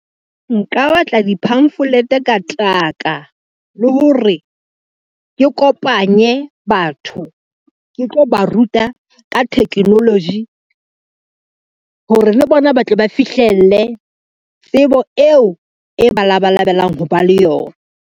Nka batla di-pamphlet ka taka le hore ke kopanye batho ke tlo ba ruta ka technology hore le bona ba tle ba fihlelle tsebo eo e ba labalabelang ho ba le yona.